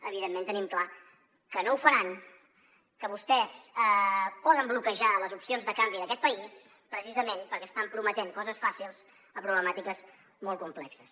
evidentment tenim clar que no ho faran que vostès poden bloquejar les opcions de canvi d’aquest país precisament perquè estan prometent coses fàcils a problemàtiques molt complexes